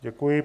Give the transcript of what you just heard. Děkuji.